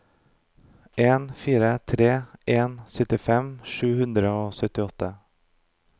en fire tre en syttifem sju hundre og syttiåtte